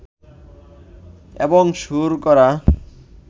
এবং সুর করা